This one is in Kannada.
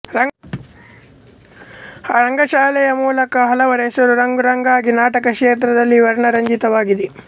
ರಂಗಶಾಲೆಯ ಮೂಲಕ ಹಲವರ ಹೆಸರು ರಂಗುರಂಗಾಗಿ ನಾಟಕ ಕ್ಷೇತ್ರದಲ್ಲಿ ವರ್ಣರಂಜಿತವಾಗಿದೆ